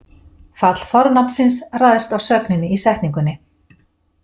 Fall fornafnsins ræðst af sögninni í setningunni.